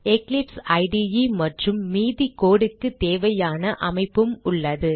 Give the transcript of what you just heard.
Eclipse IDE மற்றும் மீதி code க்கு தேவையான அமைப்பும் உள்ளது